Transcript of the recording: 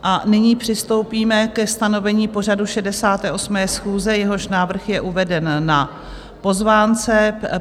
A nyní přistoupíme ke stanovení pořadu 68. schůze, jehož návrh je uveden na pozvánce.